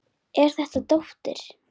Er þetta dóttir.